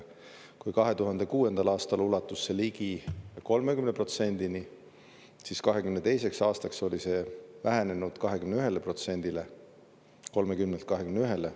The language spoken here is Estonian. Kui 2006. aastal ulatus ligi 30%-ni, siis 2022. aastaks oli see vähenenud 21%-le, 30-lt 21-le.